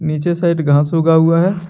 नीचे साइड घास उगा हुआ है।